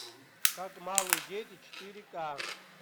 как малые дети четыре ка